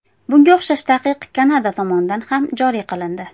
Bunga o‘xshash taqiq Kanada tomonidan ham joriy qilindi.